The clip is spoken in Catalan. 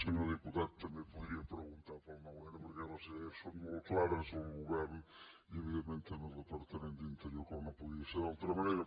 senyor diputat també podria preguntar pel noun perquè les idees són molt clares al govern i evidentment també al departament d’interior com no podia ser d’altra manera